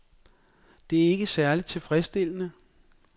Det er ikke særlig tilfredsstillende.